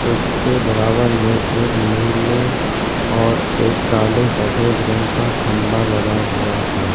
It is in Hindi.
उसके बराबर में एक नीले और एक काले सफेद रंग का खंबा लगा हुआ है।